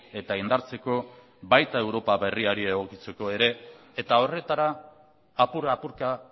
eta indartzeko baita europa berriari egokitzeko ere eta horretara apur apurka